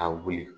A wuli